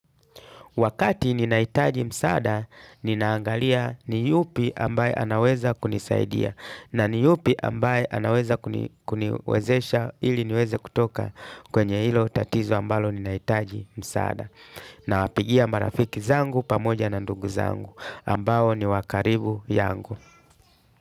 Wakati ninahitaji msaada, ninaangalia ni yupi ambaye anaweza kunisaidia na ni yupi ambaye anaweza kuniwezesha ili niweze kutoka kwenye hilo tatizo ambalo ninahitaji msaada. Na wapigia marafiki zangu pamoja na ndugu zangu ambao ni wakaribu yangu.